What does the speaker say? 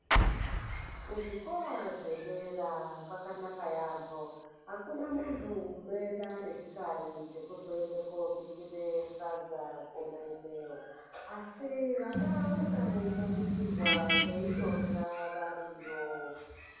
Kuzvikora zvdera kwakanaka yaampho akuna munthu unoenda nechikari chekuzoende kobikire sadza kona ikweyo, asi vana vanonga veitobikirwa veitorya variyo.